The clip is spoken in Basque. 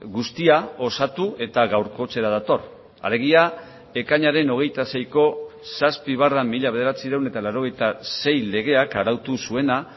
guztia osatu eta gaurkotzera dator alegia ekainaren hogeita seiko zazpi barra mila bederatziehun eta laurogeita sei legeak arautu zuena